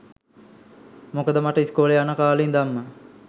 මොකද මට ඉස්කෝලේ යන කාලේ ඉඳන්ම